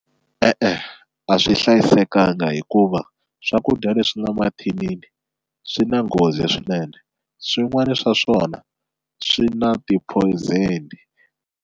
E-e a swi hlayisekanga hikuva swakudya leswi nga mathinini swi na nghozi swinene swin'wani swa swona swi na ti-poison.